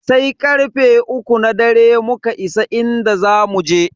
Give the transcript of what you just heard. Sai karfe uku na dare muka isa inda zamu je.